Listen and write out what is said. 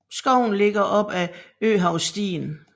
Skoven ligger lige op ad Øhavsstien